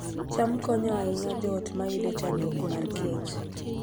cham konyo ahinya joot mayudo chandruok mar kech